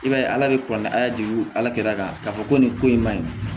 I b'a ye ala bɛ kɔn ni ala jigin ala kɛra k'a fɔ ko nin ko in maɲi